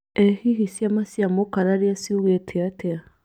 Ee hihi ciama cia mũkararia ciugĩte atĩa?